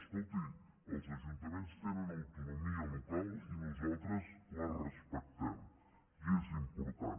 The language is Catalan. escolti els ajuntaments tenen autonomia local i nosaltres la respectem i és important